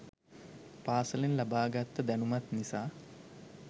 පාසලෙන් ලබා ගත්ත දැනුමත් නිසා